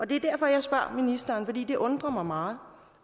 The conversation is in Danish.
det er derfor jeg spørger ministeren for det undrer mig meget